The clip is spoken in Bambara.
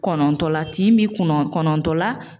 Kɔnɔntɔn la, tin bɛ kɔnɔn kɔnɔntɔn la.